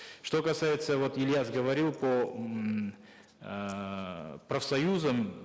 что касается вот ильяс говорил по м эээ профсоюзам